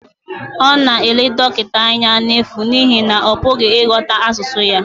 Ọ na-ele dọkịta anya n'efu n'ihi na ọ pụghị ịghọta asụsụ ya